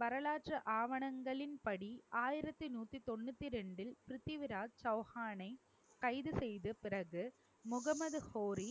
வரலாற்று ஆவணங்களின் படி ஆயிரத்தி நூத்தி தொண்ணூத்தி ரெண்டில் பிருத்திவிராஜ் சௌகானை, கைது செய்த பிறகு முகமது கோரி